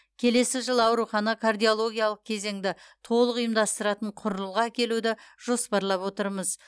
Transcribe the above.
келесі жылы аурухана кардиологиялық кезеңді толық ұйымдастыратын құрылғы әкелуді жоспарлап отырмыз